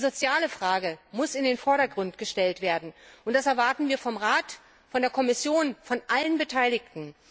Die soziale Frage muss in den Vordergrund gestellt werden, und das erwarten wir vom Rat, von der Kommission, von allen Beteiligten.